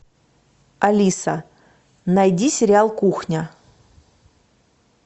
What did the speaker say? алиса найди сериал кухня